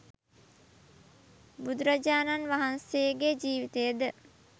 බුදුරජාණන් වහන්සේගේ ජීවිතය ද